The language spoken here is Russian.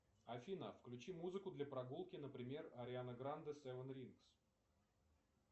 афина включи музыку для прогулки например ариана гранде севен рингс